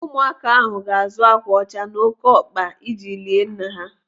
Ụmụaka ahụ ga-azụ akwa ọcha na ókéọkpa iji lie nna ha.